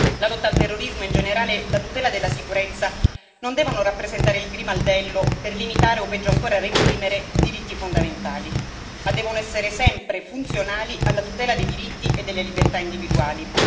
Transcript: La lotta al terrorismo e in generale la tutela della sicurezza non devono rappresentare il grimaldello per limitare o peggio ancora reprimere diritti fondamentali, ma devono essere sempre funzionali alla tutela dei diritti e delle libertà individuali.